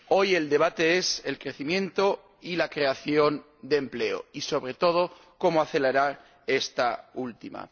Hoy el debate es el crecimiento y la creación de empleo, y, sobre todo, cómo acelerar esta última.